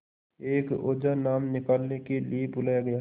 एक ओझा नाम निकालने के लिए बुलाया गया